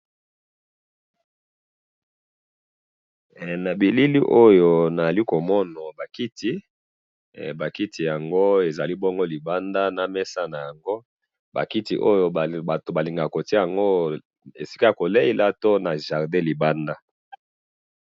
he na bilili oyo nazalli bongo komona nazali komona ba kiti na mesa nayango hee ba kiti oyo balingaka kotiya yango esika ya jardin to libanda.